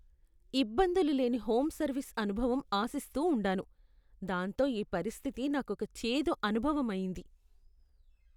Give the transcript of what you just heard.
ఇబ్బందులు లేని home service అనుభవం ఆశిస్తూ ఉండాను, దాంతో ఈ పరిస్థితి నాకోక చేదు అనుభవం అయింది.